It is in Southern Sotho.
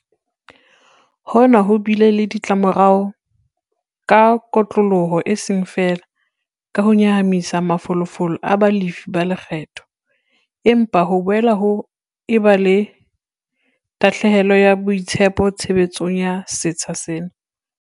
Hona ho bile le ditlamorao ka kotloloho eseng feela ka ho nyahamisa mafolofolo a balefi ba lekgetho, empa ho boela ho eba le tahlehelo ya boitshepo tshebetsong ya setsha sena.